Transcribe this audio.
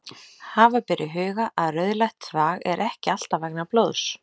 Hafa ber í huga að rauðleitt þvag er ekki alltaf vegna blóðs.